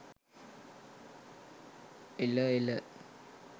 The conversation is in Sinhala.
එල එල.